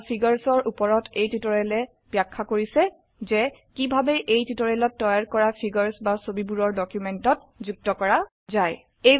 table আৰু figures এৰ উপৰ এই টিউটোৰিয়েলে ব্যাখ্যা কৰিছে যে কিভাবে এই টিউটোৰিয়ালত তৈয়াৰ কৰা ফিগাৰস বা ছবিবোৰৰ ডকিউমেন্টত যুক্ত কৰা যায়